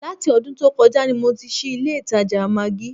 Láti ọdún tó kọjá ni mo ti ṣí ilé ìtajà maggí